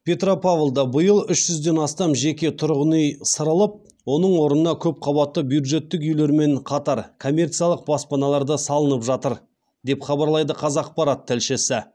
петропавлда биыл үшізден астам жеке тұрғын үй сырылып оның орнына көп қабатты бюджеттік үйлермен қатар коммерциялық баспаналар да салынып жатыр деп хабарлайды қазақпарат тілшісі